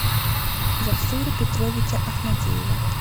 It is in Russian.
жасура петровича ахмадеева